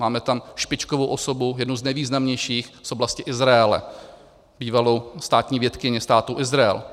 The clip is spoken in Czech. Máme tam špičkovou osobu, jednu z nejvýznamnějších, z oblasti Izraele, bývalou státní vědkyni Státu Izrael.